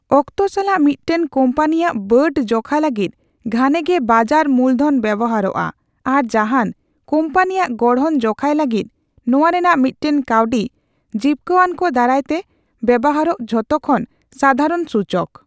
ᱚᱠᱛᱚ ᱥᱟᱞᱟᱜ ᱢᱤᱫᱴᱟᱝ ᱠᱳᱢᱯᱟᱱᱤᱭᱟᱜ ᱵᱟᱹᱰ ᱡᱚᱠᱷᱟ ᱞᱟᱹᱜᱤᱫ ᱜᱷᱟᱱᱮ ᱜᱮ ᱵᱟᱡᱟᱨ ᱢᱩᱞ ᱫᱷᱚᱱ ᱵᱮᱣᱦᱟᱨᱚᱜᱼᱟ ᱟᱨ ᱡᱟᱦᱟᱱ ᱠᱳᱢᱯᱟᱱᱤᱭᱟᱜ ᱜᱚᱲᱦᱚᱱ ᱡᱚᱠᱷᱟᱭ ᱞᱟᱹᱜᱤᱫ ᱱᱚᱣᱟ ᱨᱮᱱᱟᱜ ᱢᱤᱫᱴᱟᱝ ᱠᱟᱣᱰᱤ ᱡᱤᱯᱠᱟᱹᱣᱟᱱᱠᱚ ᱫᱟᱨᱟᱭᱛᱮ ᱵᱮᱣᱦᱟᱨᱚᱜ ᱡᱷᱚᱛᱚ ᱠᱷᱚᱱ ᱥᱟᱫᱷᱟᱨᱚᱱ ᱥᱩᱪᱚᱠ ᱾